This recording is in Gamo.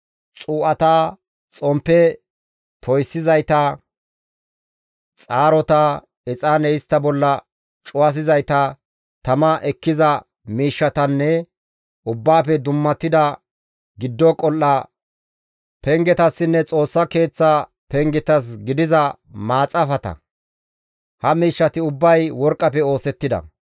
xuu7ata, xomppe toyssiyizayta, xaarota, exaane istta bolla cuwasizayta, tama ekkiza miishshatanne, Ubbaafe dummatida giddo qol7a pengetassinne Xoossa Keeththa pengetas gidiza maxaafata. Ha miishshati ubbay worqqafe oosettida.